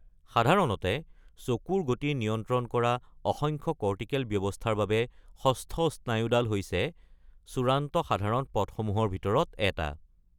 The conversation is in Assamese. সাধাৰণতে চকুৰ গতি নিয়ন্ত্ৰণ কৰা অসংখ্য কৰ্টিকেল ব্যৱস্থাৰ বাবে ষষ্ঠ স্নায়ুডাল হৈছে চূড়ান্ত সাধাৰণ পথসমূহৰ ভিতৰত এটা।